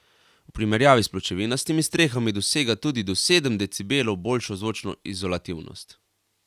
V primerjavi s pločevinastimi strehami dosega tudi do sedem decibelov boljšo zvočno izolativnost.